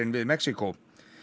við Mexíkó